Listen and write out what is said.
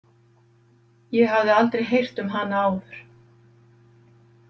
Ég hafði aldrei heyrt um hana áður.